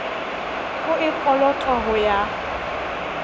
o e kolotwang ho ya